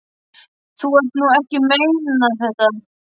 Þú ert nú ekki að meina þetta!